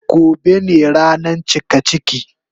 Gobe ne rana cikaciki.